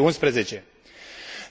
2011.